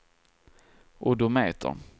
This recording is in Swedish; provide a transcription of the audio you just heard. odometer